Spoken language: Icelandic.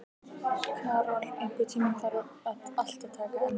Karol, einhvern tímann þarf allt að taka enda.